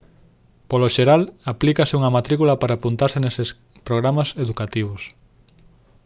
polo xeral aplícase unha matrícula para apuntarse neses programas educativos